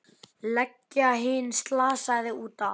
Leggja hinn slasaða út af.